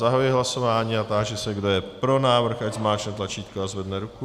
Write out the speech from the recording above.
Zahajuji hlasování a táži se, kdo je pro návrh, ať zmáčkne tlačítko a zvedne ruku.